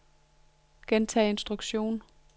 gentag instruktion